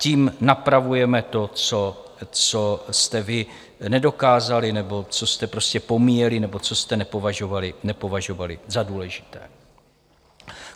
Tím napravujeme to, co jste vy nedokázali nebo co jste prostě pomíjeli nebo co jste nepovažovali za důležité.